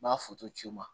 N b'a ci u ma